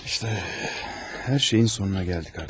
İşte hər şeyin sonuna gəldik artıq.